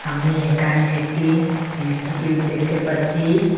আমি এখানে একটি ইনস্টিটিউট দেখতে পাচ্ছি।